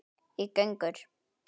í gönur.